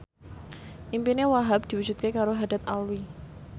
impine Wahhab diwujudke karo Haddad Alwi